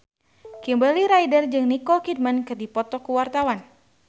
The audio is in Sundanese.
Kimberly Ryder jeung Nicole Kidman keur dipoto ku wartawan